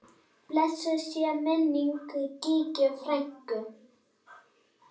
Blessuð sé minning Gígju frænku.